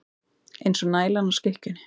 Eins og nælan á skikkjunni.